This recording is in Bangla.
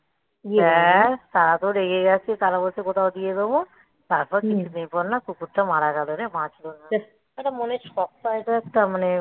ব্যাস তারা তো রেগে গেছে তারা বলছে কোথাও দিয়ে দেবো তারপর তিনদিন পর না কুকুরটা মারা গেলো রে বাঁচল না মনের শক পায় তো একটা মানে